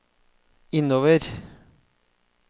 innover